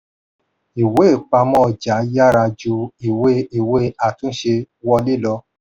ìwé-ìpamọ́ ọjà yára ju ìwé ìwé àtúnṣe wọlé lọ.